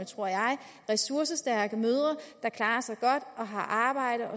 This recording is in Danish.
tror jeg ressourcestærke mødre der klarer sig godt og har arbejde